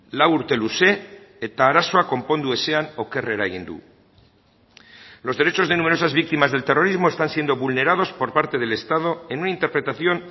lau urte luze eta arazoa konpondu ezean okerrera egin du los derechos de numerosas víctimas del terrorismo están siendo vulnerados por parte del estado en una interpretación